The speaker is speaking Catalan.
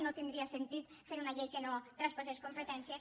no tindria sentit fer una llei que no traspassés competències